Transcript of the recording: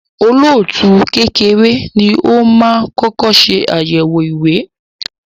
olóòtú kékeré ní o má kọkọ ṣe ayẹwo ìwé